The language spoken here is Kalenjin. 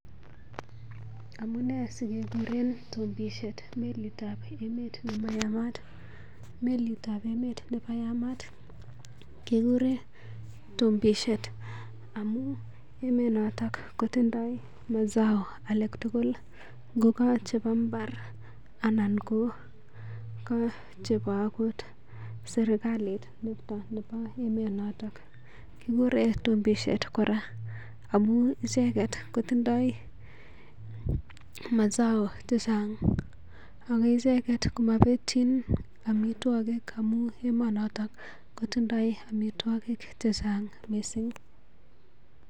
Amune sikekuren tombisiet melitab emet neyamat? Melitab emet ne yamaat keguren tombisiet amun emonoto kotindo mazao alak tugul ngo ka chebo mbar ana ko kochebo agot serkalit nebo emonoto. Kigure tombisiet kora amun icheget kotindoi mazao chechang ak icheget komabetyin amitwogik amun emonoto kotindoi amitwogik che chang mising.